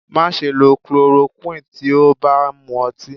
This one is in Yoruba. Má ṣe lọ clorokúì tí ó bá ń mú ọtí.